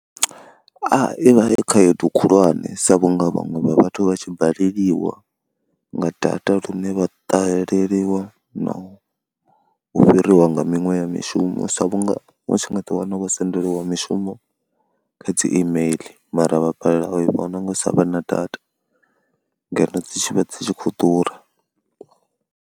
Ivha i khaedu khulwane sa vhunga vhaṅwe vha vhathu vha tshi baleliwa nga data lune vha ṱahelelwa na u fhiriwa nga miṅwe ya mishumo musi vhunga vha tshi nga ḓiwana wo sendeliwa mishumo kha dzi email mara vha balelwa u i vhono nga u sa vha na data ngeno dzi tshi vha dzi tshi khou ḓura.